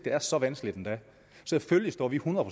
er så vanskeligt endda selvfølgelig står vi hundrede